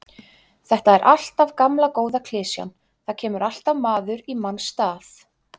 Þetta er alltaf gamla góða klisjan, það kemur alltaf maður í manns stað.